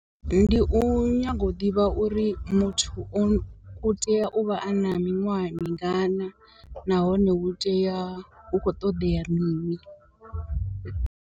Ndi u nyaga u ḓivha uri muthu u tea u vha a na miṅwaha mingana nahone hu tea u khou ṱoḓea mini.